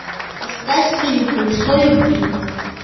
искать фильм колесо любви